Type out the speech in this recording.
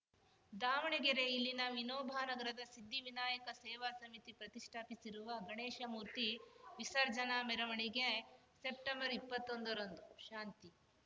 ದಾವಣಗೆರೆ ಇಲ್ಲಿನ ವಿನೋಬ ನಗರದ ಸಿದ್ಧಿ ವಿನಾಯಕ ಸೇವಾ ಸಮಿತಿ ಪ್ರತಿಷ್ಟಾಪಿಸಿರುವ ಗಣೇಶ ಮೂರ್ತಿ ವಿಸರ್ಜನಾ ಮೆರವಣಿಗೆ ಸೆಪ್ಟೆಂಬರ್ಇಪ್ಪತ್ತೊಂದರಂದು ಶಾಂತಿ